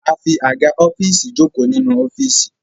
A fí Àga ọ́fíìsì joko nínú ọfiisi